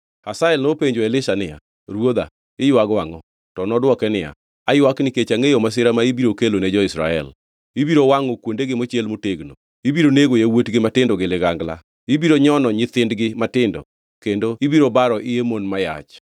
Hazael nopenjo Elisha niya, “Ruodha, iywago angʼo?” To nodwoke niya, “Aywak nikech angʼeyo masira ma ibiro kelone jo-Israel. Ibiro wangʼo kuondegi mochiel motegno, ibiro nego yawuotgi matindo gi ligangla, ibiro nyono nyithindgi matindo kendo ibiro baro iye mon ma yach.”